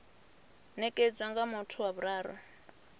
nekedzwa nga muthu wa vhuraru